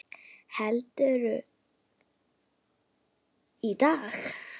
Heldur, í dag!